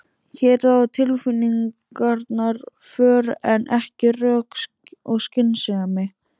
Hér ráða tilfinningarnar för en ekki rök og skynsemi.